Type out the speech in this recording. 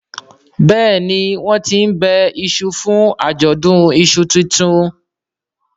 Béèni wón tín ńbe iṣu fún Ajọdun iṣu títún.